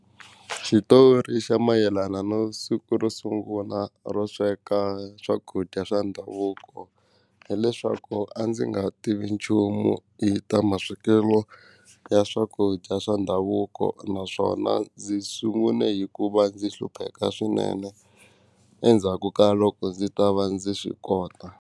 Xitori xa mayelana no siku ro sungula ro sweka swakudya swa ndhavuko hileswaku a ndzi nga tivi nchumu hi ta ma swekelo ya swakudya swa ndhavuko naswona ndzi sungune hikuva ndzi hlupheka swinene endzhaku ka loko ndzi ta va ndzi swi kota.